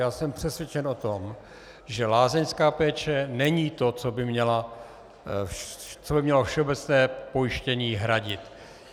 Já jsem přesvědčen o tom, že lázeňská péče není to, co by mělo všeobecné pojištění hradit.